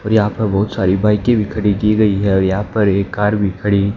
और यहां पर बहुत सारी बाईकें भी खड़ी की गई है और यहां पर एक कार भी खड़ी --